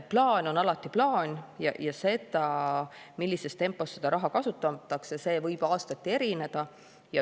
Plaan on alati plaan ja see, millises tempos seda raha kasutatakse, võib aastati erineda.